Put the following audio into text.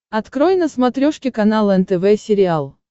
открой на смотрешке канал нтв сериал